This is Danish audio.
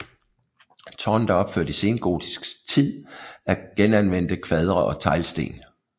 Tårnet er opført i sengotisk tid af genanvendte kvadre og teglsten